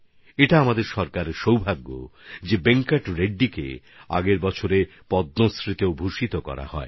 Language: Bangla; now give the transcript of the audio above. এটা আমাদের সরকারের সৌভাগ্য যে আমরা গতবছর রেড্ডিজিকে পদ্মশ্রী সম্মানে ভূষিত করেছিলাম